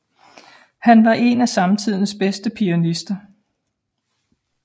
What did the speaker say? Han var en af samtidens bedste pianister